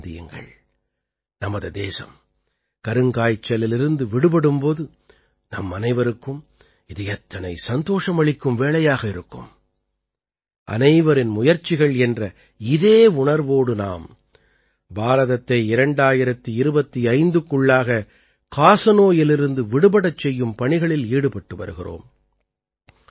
சற்றே சிந்தியுங்கள் நமது தேசம் கருங்காய்ச்சலிலிருந்து விடுபடும் போது நம்மனைவருக்கும் இது எத்தனை சந்தோஷம் அளிக்கும் வேளையாக இருக்கும் அனைவரின் முயற்சிகள் என்ற இதே உணர்வோடு நாம் பாரதத்தை 2025க்குள்ளாக காசநோயிலிருந்து விடுபடச் செய்யும் பணிகளில் ஈடுபட்டு வருகிறோம்